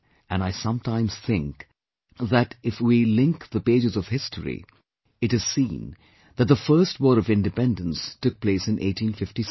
And I sometimes think that if we link the pages of history, it is seen that the First War of Independence took place in 1857